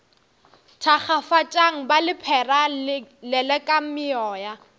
thakgafatšang ba lephera lelekang meoya